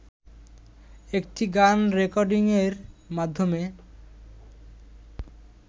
একটি গান রেকর্ডিংয়ের মাধ্যমে